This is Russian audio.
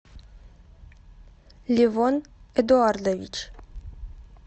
левон эдуардович